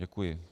Děkuji.